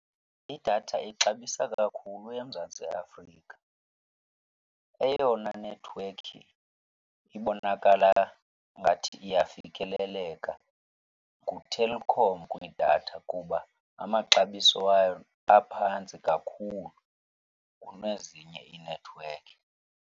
Idatha ixabisa kakhulu eMzantsi Afrika. Eyona nethiwekhi ibonakala ngathi iyafikeleleka nguTelkom kwidatha kuba amaxabiso wayo aphantsi kakhulu kunezinye iinethiwekhi.